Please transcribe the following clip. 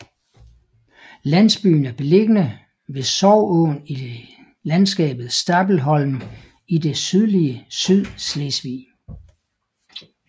Landsbyen er beliggende ved Sorgåen i landskabet Stabelholm i det sydlige Sydslesvig